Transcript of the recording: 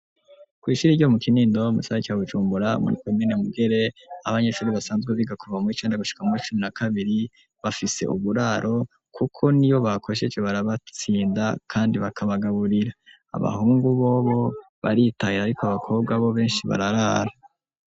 Kwishira iryo mu kinindowa mucara cyawujumbura muri kwemene mugere abanyeshuri basanzwe bigakuva mur icanda gushika muri cumi na kabiri bafise uburaro, kuko ni yo bakosheje barabatsinda, kandi bakabagaburira abahungu bobo baritahira, ariko abakobwa bo benshi bararara.